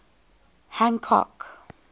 hancock